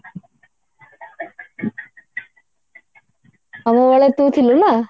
ଆମ ବେଳେ ତୁ ଥିଲୁ ନା